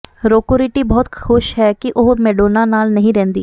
ਰੋਕੋ ਰੀਟੀ ਬਹੁਤ ਖੁਸ਼ ਹੈ ਕਿ ਉਹ ਮੈਡੋਨਾ ਨਾਲ ਨਹੀਂ ਰਹਿੰਦੀ